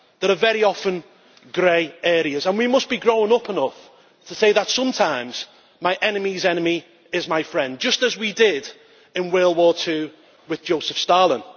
there are very often grey areas, and we must be grown up enough to say that sometimes my enemy's enemy is my friend, just as we did in the Second World War with Joseph Stalin.